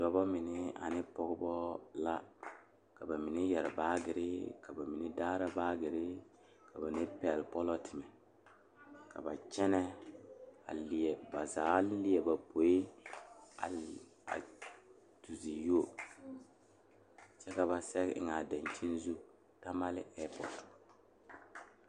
Dɔɔba mine ane pɔgeba ane bibile kaŋa toɔ la taa kaa nensaalba are ka bamine su kpare peɛle, ka bamine su kpare ziiri ka bamine su kpare sɔglɔ ka bamine su kpare doɔre ka bamine su kpare lene lene a bogi poɔ ka sagre dankyini zu Tamale airport.